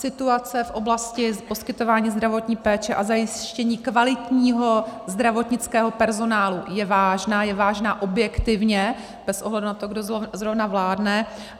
Situace v oblasti poskytování zdravotní péče a zajištění kvalitního zdravotnického personálu je vážná, je vážná objektivně bez ohledu na to, kdo zrovna vládne.